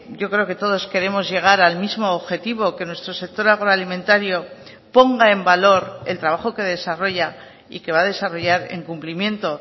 yo creo que todos queremos llegar al mismo objetivo que nuestro sector agroalimentario ponga en valor el trabajo que desarrolla y que va a desarrollar en cumplimiento